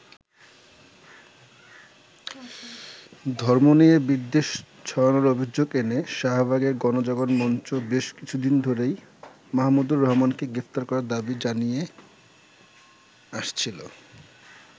ধর্ম নিয়ে বিদ্বেষ ছড়ানোর অভিযোগ এনে, শাহবাগের গনজাগরণ মঞ্চ বেশ কিছুদিন ধরেই মাহমুদুর রহমানকে গ্রেফতার করার দাবি জানিয়ে আসছিল।